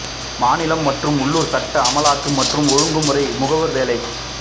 மாநில மற்றும் உள்ளூர் சட்ட அமலாக்க மற்றும் ஒழுங்குமுறை முகவர் வேலை